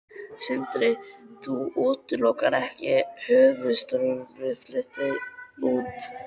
Sindri: Þú útilokar ekki að höfuðstöðvar verði fluttar út?